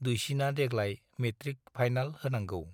दुइसिना देग्लाय matric final होनांगौ।